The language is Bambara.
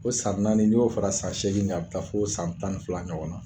O san naani ni y'o fara san seegin in kan a bɛ taa fo san tan fila ɲɔgɔnna.